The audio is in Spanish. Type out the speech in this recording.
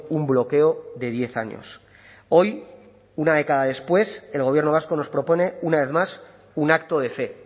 un bloqueo de diez años hoy una década después el gobierno vasco nos propone una vez más un acto de fe